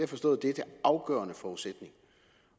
forstået er den afgørende forudsætning